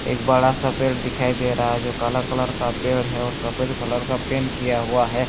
एक बड़ा सा पेड़ दिखाई दे रहा है जो काला कलर का पेड़ है और सफ़ेद कलर का पेंट किया हुआ है।